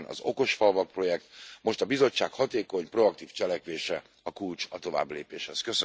ilyen az okos falvak projekt. Most a Bizottság hatékony, proaktív cselekvése a kulcs a továbblépéshez.